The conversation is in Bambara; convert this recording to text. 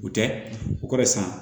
O tɛ o kɔrɔ ye san